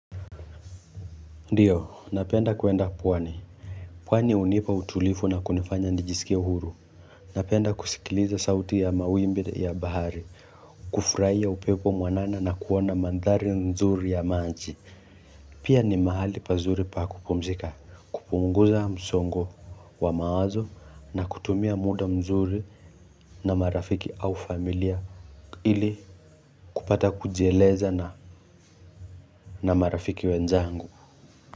Ndiyo napenda kuenda pwani pwani hunipa utulifu na kunifanya nijisikie uhuru Napenda kusikiliza sauti ya mawimbi ya bahari kufurahia upepo mwanana na kuona mandhari nzuri ya manji. Pia ni mahali pazuri pa kupumzika kupunguza msongo wa mawazo na kutumia muda mzuri na marafiki au familia ili kupata kujieleza na na marafiki wenzangu.